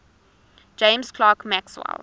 james clerk maxwell